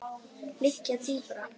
liggja dýpra.